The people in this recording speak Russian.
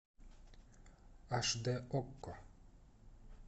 аш д окко